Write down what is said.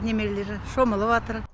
немерелер шомылып атыр